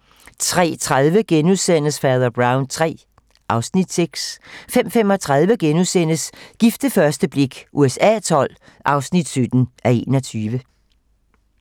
03:30: Fader Brown III (Afs. 6)* 05:35: Gift ved første blik USA XII (17:21)*